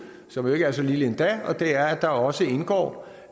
som ikke er så lille endda og det er at der også indgår